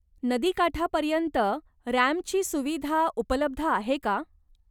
नदीकाठापर्यंत रॅम्पची सुविधा उपलब्ध आहे का?